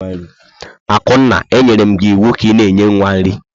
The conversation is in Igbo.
Akunna, e nyerem gi iwu ka i nye nwa nri!